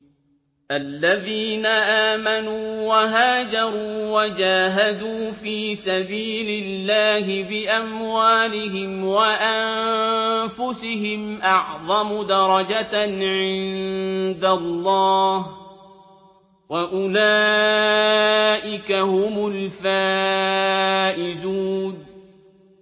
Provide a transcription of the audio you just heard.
الَّذِينَ آمَنُوا وَهَاجَرُوا وَجَاهَدُوا فِي سَبِيلِ اللَّهِ بِأَمْوَالِهِمْ وَأَنفُسِهِمْ أَعْظَمُ دَرَجَةً عِندَ اللَّهِ ۚ وَأُولَٰئِكَ هُمُ الْفَائِزُونَ